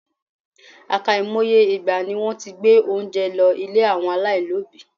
Àkàìmoye ìgbà ni wọ́n ti gbé oúnjẹ lọ ilé àwọn aláìní òbí.